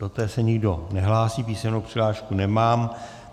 Do té se nikdo nehlásí, písemnou přihlášku nemám.